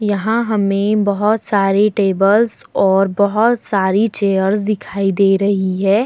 यहाँ हमें बहोत सारे टेबल्स और बहोत सारी चेयर्स दिखाई दे रही है।